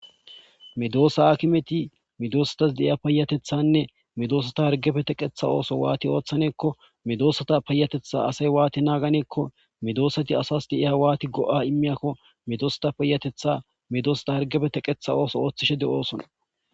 Medosa hakimeti meedosatas de'iya payatethane meedosa ooso waathi oothaneko meedosata payatetha asy waathi naaganeko meedosati asas wathi go'a imiyako medosata payatetha medosata oosuwa oothishe de'osona.